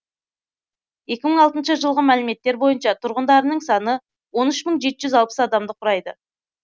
екі мың алтыншы жылғы мәліметтер бойынша тұрғындарының саны он үш мың жеті жүз алпыс адамды құрайды